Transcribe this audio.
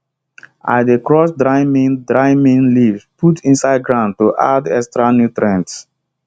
i dey crush dry neem dry neem leaves put inside ground to add extra nutrients